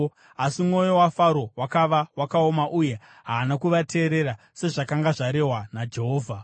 Asi mwoyo waFaro wakava wakaoma uye haana kuvateerera, sezvakanga zvarehwa naJehovha.